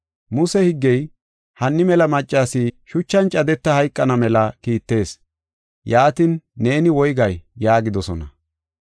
Muse higgey hanni mela maccas shuchan cadeta hayqana mela kiittees. Yaatin, neeni woygay?” yaagidosona.